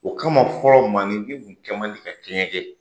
O kama fɔɔ maanifin tun kɛ man di ka kɛɲɛ kɛ.